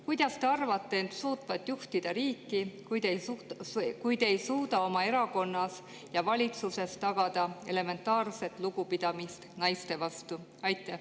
Kuidas te arvate end suutvat juhtida riiki, kui te ei suuda oma erakonnas ja valitsuses tagada elementaarset lugupidamist naiste vastu?